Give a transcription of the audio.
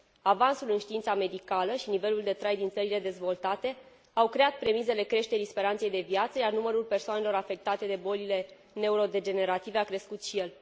Avansul în știința medicală și nivelul de trai din țările dezvoltate au creat premisele creșterii speranței de viață, iar numărul persoanelor afectate de bolile neurodegenerative a crescut și el.